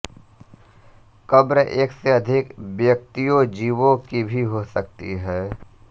कब्र एक से अधिक व्यक्तियोंजीवों की भी हो सकती हैं